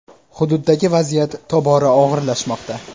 Hududdagi vaziyat tobora og‘irlashmoqda.